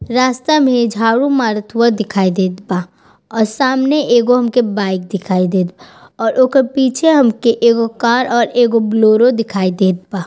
रास्ता में झाड़ू मारत हुआ दिखाई देत बा और सामने एगो उनके बाइक दिखाई देत बा और ओकर पीछे हमका एगो कार और एगो बोलेरो दिखाई देत बा।